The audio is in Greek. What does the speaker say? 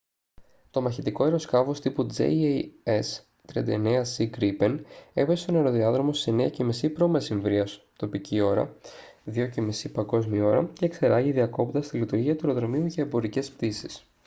το μαχητικό αεροσκάφος τύπου jas 39c gripen έπεσε στον αεροδιάδρομο στις 9:30 π.μ. τοπική ώρα 0230 παγκόσμια ώρα και εξερράγη διακόπτοντας τη λειτουργία του αεροδρομίου για εμπορικές πτήσεις